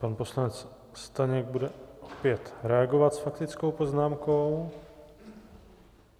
Pan poslanec Staněk bude opět reagovat s faktickou poznámkou.